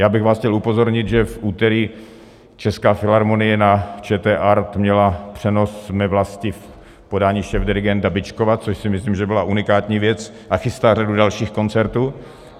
Já bych vás chtěl upozornit, že v úterý Česká filharmonie na ČT Art měla přenos Mé vlasti v podání šéfdirigenta Byčkova, což si myslím, že byla unikátní věc, a chystá řadu dalších koncertů.